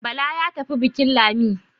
Bala ya tafi bukin Lami